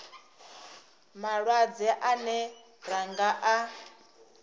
malwadze ane ra nga a